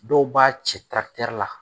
Dɔw b'a cɛ la